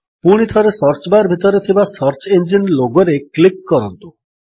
ପୁଣିଥରେ search bar ଭିତରେ ଥିବା ସର୍ଚ୍ଚ ଇଞ୍ଜିନ୍ ଲୋଗୋରେ କ୍ଲିକ୍ କରନ୍ତୁ